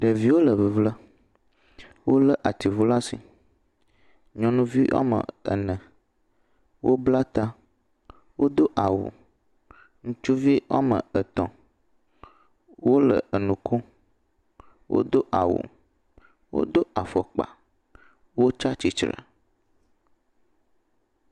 Ɖeviwo le fefem. Wolé atiŋuwo ɖe asi. Nyɔnuvi ene wobla ta, wodo awu. Ŋutsuvi ame etɔ̃ wole enu kom. Wodo awu, wodo afɔkpa, wotsi atsitre.